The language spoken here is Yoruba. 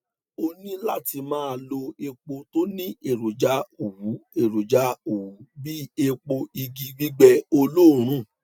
o ní láti máa lo epo tó ní èròjà òwú èròjà òwú bíi epo igi gbigbẹ oloorun